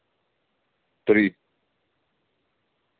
три